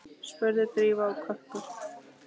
spurði Drífa og kökkur